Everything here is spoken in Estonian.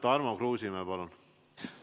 Tarmo Kruusimäe, palun!